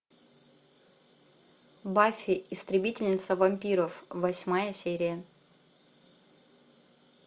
баффи истребительница вампиров восьмая серия